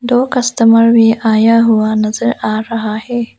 दो कस्टमर भी आया हुआ नजर आ रहा है।